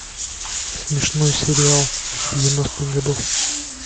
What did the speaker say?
смешной сериал девяностых годов